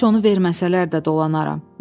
Heç onu verməsələr də dolanaram.